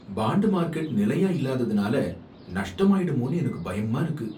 Bond market நிலையா இல்லாததுனால நஷ்டமாயிடுமோன்னு எனக்கு பயமா இருக்கு.